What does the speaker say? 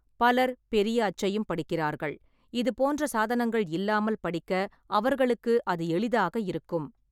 பலர் பெரிய அச்சையும் படிக்கிறார்கள், இது போன்ற சாதனங்கள் இல்லாமல் படிக்க அவர்களுக்கு அது எளிதாக இருக்கும்.